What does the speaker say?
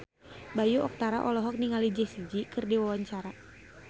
Bayu Octara olohok ningali Jessie J keur diwawancara